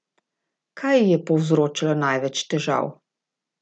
Kaj ji je povzročalo največ težav?